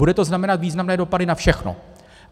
Bude to znamenat významné dopady na všechno.